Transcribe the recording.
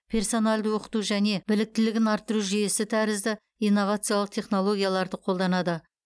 персоналды оқыту және біліктілігін арттыру жүйесі тәрізді инновациялық технологияларды қолданады